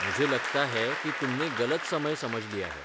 मुझे लगता है कि तुमने गलत समय समझ लिया है।